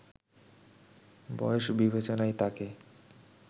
বয়স বিবেচনায় তাকে